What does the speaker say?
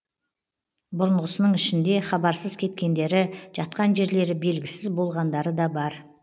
бұрынғысының ішінде хабарсыз кеткендері жатқан жерлері белгісіз болғандары да бар